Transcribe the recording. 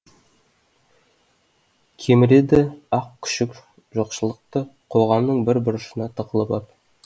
кеміреді ақ күшік жоқшылықты қоғамның бір бұрышына тығылып ап